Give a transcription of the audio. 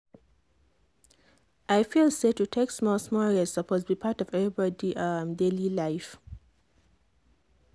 i feel say to take small-small rest suppose be part of everybody um daily life.